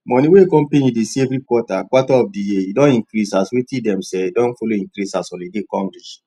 money wey company dey see every quarter quarter of di year don increase as wetin dem sell don follow increase as holiday come reach